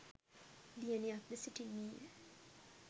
දියණියක්ද සිටින්නීය